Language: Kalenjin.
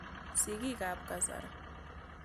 Sigik ap kasari.